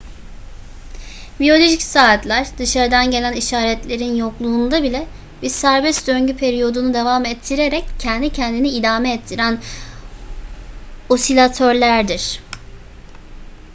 biyolojik saatler dışarıdan gelen işaretlerin yokluğunda bile bir serbest döngü periyodunu devam ettirerek kendi kendini idame ettiren osilatörlerdir